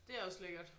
Det er også lækkert